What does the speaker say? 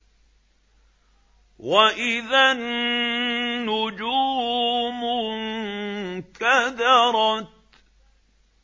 وَإِذَا النُّجُومُ انكَدَرَتْ